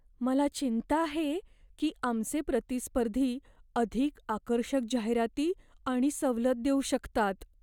मला चिंता आहे की आमचे प्रतिस्पर्धी अधिक आकर्षक जाहिराती आणि सवलत देऊ शकतात.